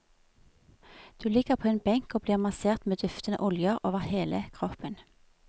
Du ligger på en benk og blir massert med duftende oljer over hele kroppen.